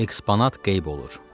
Eksponat qeyb olur.